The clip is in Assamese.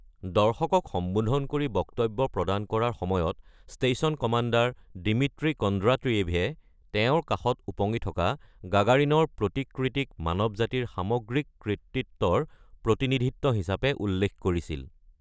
দৰ্শকক সম্বোধন কৰি বক্তব্য প্ৰদান কৰাৰ সময়ত ষ্টেচন কমাণ্ডাৰ দিমিত্ৰী কণ্ড্ৰাটিয়েভে তেওঁৰ কাষত ওপঙি থকা গাগাৰিনৰ প্ৰতিকৃতিক ‘মানৱ জাতিৰ সামগ্ৰিক’ কৃতিত্বৰ প্ৰতিনিধিত্ব হিচাপে উল্লেখ কৰিছিল।